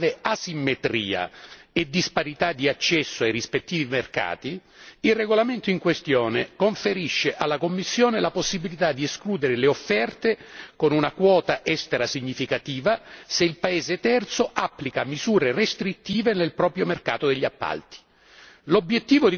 A fronte di una grave asimmetria e disparità di accesso ai rispettivi mercati, il regolamento in questione conferisce alla Commissione la possibilità di escludere le offerte con una quota estera significativa se il paese terzo applica misure restrittive nel proprio mercato degli appalti.